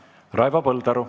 Raivo Põldaru.